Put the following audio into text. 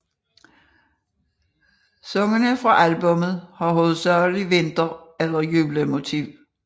Sangene på albummet har hovedsageligt vinter eller juletema